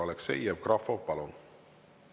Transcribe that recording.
Aleksei Jevgrafov, palun!